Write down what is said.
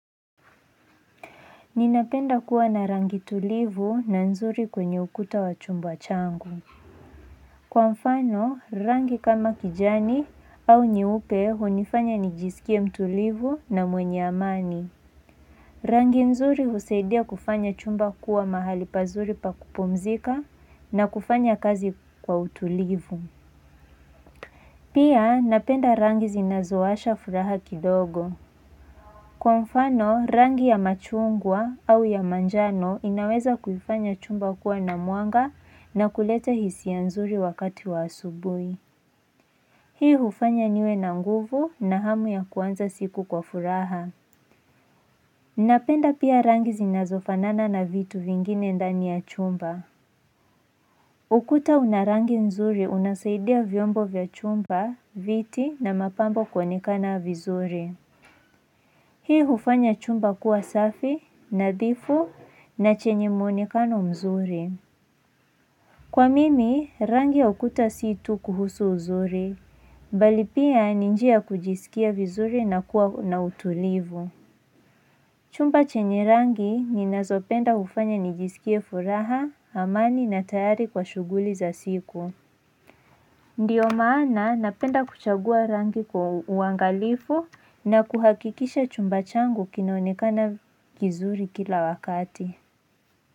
Ninapenda kuwa na rangi tulivu na nzuri kwenye ukuta wa chumba changu. Kwa mfano, rangi kama kijani au nyeupe hunifanya nijisikie mtulivu na mwenye amani. Rangi nzuri usaidia kufanya chumba kuwa mahali pazuri pa kupomzika na kufanya kazi kwa utulivu. Pia napenda rangi zinazowasha furaha kidogo. Kwa mfano, rangi ya machungwa au ya manjano inaweza kufanya chumba kuwa na mwanga na kuleta hisi ya nzuri wakati wa asubui. Hii hufanya niwe na nguvu na hamu ya kuanza siku kwa furaha. Napenda pia rangi zinazofanana na vitu vingine ndani ya chumba. Ukuta una rangi nzuri, unasaidia vyombo vya chumba, viti na mapambo kwanikana vizuri. Hii hufanya chumba kuwa safi, nadhifu, na chenye muonekano mzuri. Kwa mimi, rangi ya ukuta situ kuhusu mzuri, bali pia ni njia kujisikia vizuri na kuwa na utulivu. Chumba chenye rangi ninazopenda hufanya nijisikia furaha, amani na tayari kwa shughuli za siku. Ndiyo maana napenda kuchagua rangi kwa uangalifu na kuhakikisha chumba changu kinaonekana kizuri kila wakati.